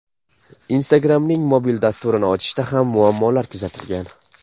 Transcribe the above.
Instagram’ning mobil dasturini ochishda ham muammolar kuzatilgan.